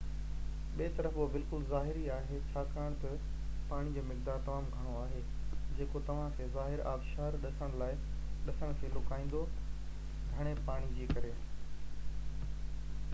ٻي طرف، اهو بلڪل ظاهري آهي ڇاڪاڻ تہ پاڻي جو مقدار تمام گهڻو آهي جيڪو توهان کي ظاهر آبشار ڏسڻ کي لڪائيندو—گهڻي پاڻي جي ڪري